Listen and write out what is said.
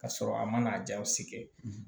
Ka sɔrɔ a ma jaw si kɛ